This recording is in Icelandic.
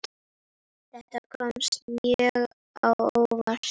Þetta kom mjög á óvart.